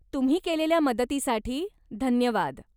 तुम्ही केलेल्या मदतीसाठी धन्यवाद.